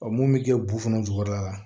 mun bɛ kɛ bufɔnɔ jukɔrɔla la